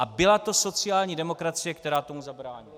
A byla to sociální demokracie, která tomu zabránila!